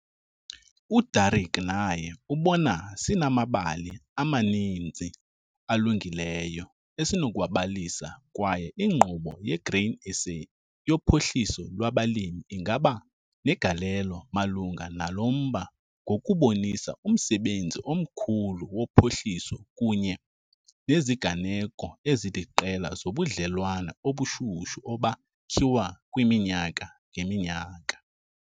UDerek naye ubona sinamabali amaninzi alungileyo esinokuwabalisa kwaye iNkqubo yeGrain SA yoPhuhliso lwabaLimi ingaba negalelo malunga nalo mba ngokubonisa umsebenzi omkhulu wophuhliso kunye neziganeko eziliqela zobudlelwane obushushu obakhiwa kwiminyaka ngeminyaka.